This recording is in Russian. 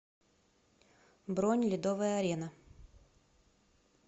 бронь ледовая арена